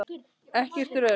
Ekkert er öruggt.